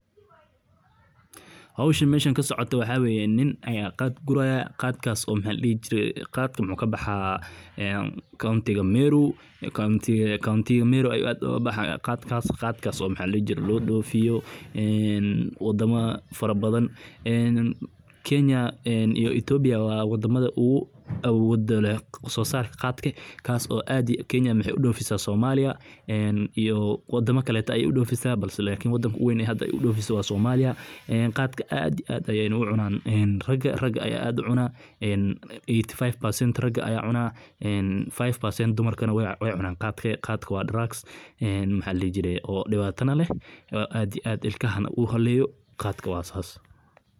Koritaanka jaadka, oo ah geed caleentiisu aad loogu isticmaalo dalal badan oo Bariga Afrika iyo Geeska Afrika ka tirsan, gaar ahaan Kenya, waa hawl u baahan dulqaad, aqoon beeraley ah, iyo xaalado cimiladeed oo gaar ah. Jaadka waxa uu u baahan yahay dhul buur leh ama sare ah oo leh carro dufan leh, biyo-dhac fiican leh, iyo roob joogto ah oo dhexdhexaad ah, si uu si wanaagsan u koro. Beeraleydu waxay abuurka jaadka ku tallaalaan godad yar-yar.